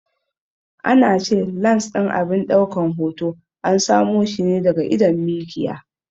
An ce lans ɗin abin daukan hoto an samo shi ne daga idon mikiya.